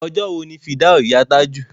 Ọjọ́ wo ni fìdáù ìyá Tájù?